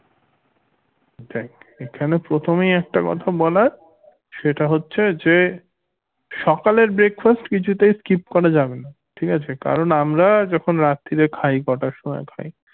দেখ এখানে প্রথমেই একটা কথা বলার সেটা হচ্ছে যে সকালের breakfast কোনোভাবেই skip করা যাবেনা ঠিক আছে কারণ আমরা যখন রাত্তিরে খাই কটার সময় খাই